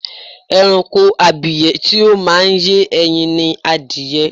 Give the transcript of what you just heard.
Ẹranko abìyẹ́ tí ó máa ń yé ẹyin ni adìyẹ.